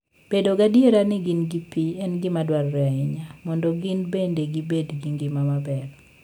Bedo gadier ni gin gi pi en gima dwarore ahinya mondo gin bende gibed gi ngima maber.